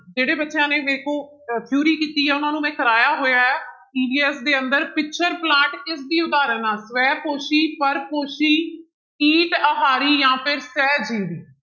ਜਿਹੜੇ ਬੱਚਿਆਂ ਨੇ ਵੇਖੋ ਅਹ theory ਕੀਤੀ ਆ ਉਹਨਾਂ ਨੂੰ ਮੈਂ ਕਰਵਾਇਆ ਹੋਇਆ ਹੈ EVS ਦੇ ਅੰਦਰ ਪਿਚਰ ਪਲਾਂਟ ਕਿਸਦੀ ਉਦਾਹਰਣ ਆਂ ਸ੍ਵੈ ਪੋਸ਼ੀ, ਪਰਪੋਸ਼ੀ, ਕੀਟ ਆਹਾਰੀ ਜਾਂ ਫਿਰ ਸ੍ਵੈ ਜੀਵੀ।